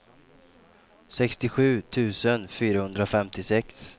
sextiosju tusen fyrahundrafemtiosex